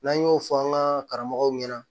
N'an y'o fɔ an ka karamɔgɔw ɲɛna